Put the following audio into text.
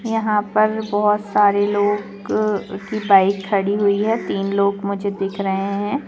यहां पर बहुत सारे लोग की बाइक खड़ी हुई है तीन लोग मुझे दिख रहे है।